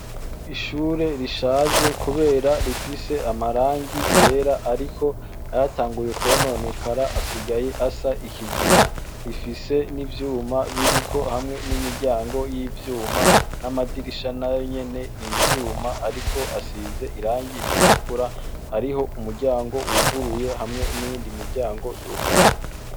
Ishure rishaje kubera amarangi yera ariko yatangiye kononekara asigaye asa ikigina rifise nivyuma ririko hamwe n'imiryango yivyuma namadirisha nayonyene yivyuma Ariko a size irangi ritukura. hariho imiryango wuguruye hamwe niyindi miryango yugaye.